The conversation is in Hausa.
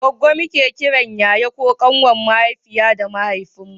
goggo muke kiran yaya ko ƙanwar mahaifiya da mahaifin mu